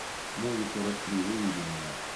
муви сорок три выведи мне